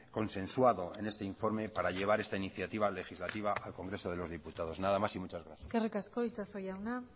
consensuado en este informe para llevar esta iniciativa legislativa al congreso de los diputados nada más y muchas gracias eskerrik asko itxaso jauna